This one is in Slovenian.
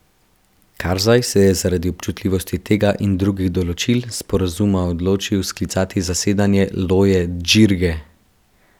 Karzaj se je zaradi občutljivosti tega in drugih določil sporazuma odločil sklicati zasedanje loje džirge.